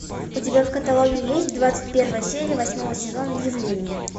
у тебя в каталоге есть двадцать первая серия восьмого сезона явление